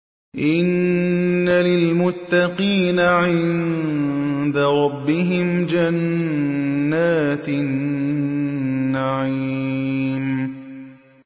إِنَّ لِلْمُتَّقِينَ عِندَ رَبِّهِمْ جَنَّاتِ النَّعِيمِ